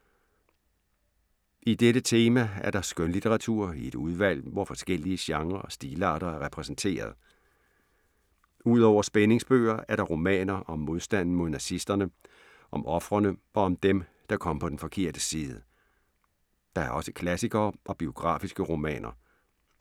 I dette tema er der skønlitteratur i et udvalg, hvor forskellige genrer og stilarter er repræsenteret. Ud over spændingsbøger er der romaner om modstanden mod nazisterne, om ofrene og om dem, der kom på den forkerte side. Der er også klassikere og biografiske romaner.